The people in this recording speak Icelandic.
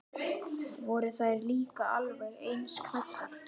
Voru þær líka alveg eins klæddar?